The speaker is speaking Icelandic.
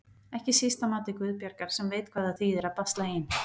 Ekki síst að mati Guðbjargar sem veit hvað það þýðir að basla ein.